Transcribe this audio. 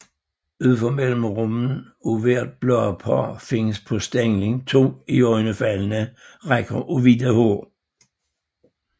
Ud for mellemrummene af hvert bladpar findes på stænglen to iøjnefaldende rækker af hvide hår